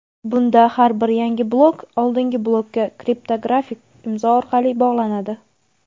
bunda har bir yangi blok oldingi blokka kriptografik imzo orqali bog‘lanadi.